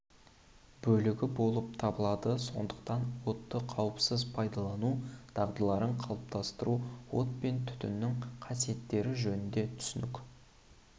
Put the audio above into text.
бөлігі болып табылады сондықтан отты қауіпсіз пайдалану дағдыларын қалыптастыру от пен түтіннің қасиеттері жөнінде түсінік